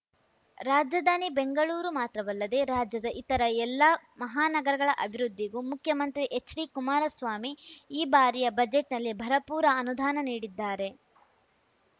ರಾಜಧಾನಿ ಬೆಂಗಳೂರು ಮಾತ್ರವಲ್ಲದೆ ರಾಜ್ಯದ ಇತರ ಎಲ್ಲಾ ಮಹಾನಗರಗಳ ಅಭಿವೃದ್ಧಿಗೂ ಮುಖ್ಯಮಂತ್ರಿ ಎಚ್‌ಡಿಕುಮಾರಸ್ವಾಮಿ ಈ ಬಾರಿಯ ಬಜೆಟ್‌ನಲ್ಲಿ ಭರಪೂರ ಅನುದಾನ ನೀಡಿದ್ದಾರೆ